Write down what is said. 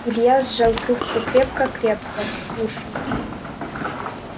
илья сжал трубку крепко-крепко слушал